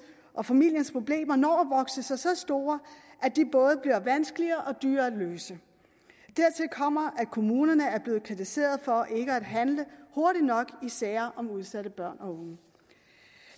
og familiens problemer når at vokse sig så store at de både bliver vanskeligere og dyrere at løse dertil kommer at kommunerne er blevet kritiseret for ikke at handle hurtigt nok i sager om udsatte børn og unge